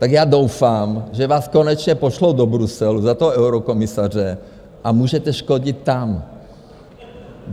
Tak já doufám, že vás konečně pošlou do Bruselu za toho eurokomisaře, a můžete škodit tam.